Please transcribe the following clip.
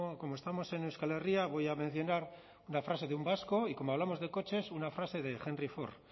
como estamos en euskal herria voy a mencionar una frase de un vasco y como hablamos de coches una frase henry ford